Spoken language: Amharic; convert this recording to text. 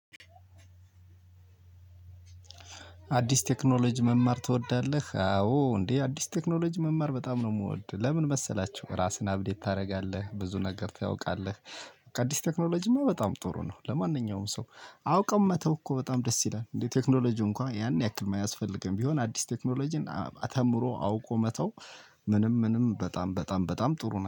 አዲስ ቴክኖሎጂ መማር ትወዳለህ? አዎ እንዴ አዲስ ቴክኖሎጂ መማር በጣም ነው የምወድ። ለምን መሰላቸው ራስን አብዴት ታደርጋለህ ብዙ ነገር ታውቃለህ። አዲስ ቴክኖሎጂማ በጣም ጥሩ ነው። ለማንኛውም ሰው አውቀው መተው እኮ በጣም ደስ ይላል። እንዴ ቴክኖሎጂው እንኳን ያን ያክል ማያስፈልገን ቢሆን አዲስ ቴክኖሎጂን ተምሮ አውቆ መተው። ምንም ምንም በጣም በጣም በጣም ጥሩ ነው